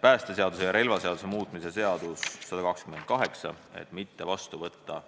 päästeseaduse ja relvaseaduse muutmise seadust muutmata kujul mitte vastu võtta.